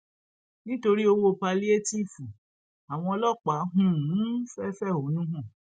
nítorí ọwọ pálíétììfù àwọn ọlọpàá um fẹẹ fẹhónú hàn